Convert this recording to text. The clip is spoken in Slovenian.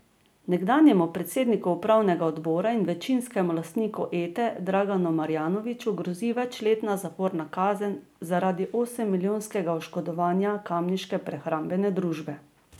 Nekdanjemu predsedniku upravnega odbora in večinskemu lastniku Ete Draganu Marjanoviću grozi večletna zaporna kazen zaradi osemmilijonskega oškodovanja kamniške prehrambne družbe.